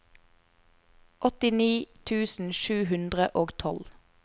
åttini tusen sju hundre og tolv